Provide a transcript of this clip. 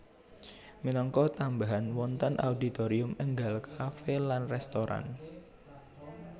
Minangka tambahan wonten auditorium énggal kafe lan restoran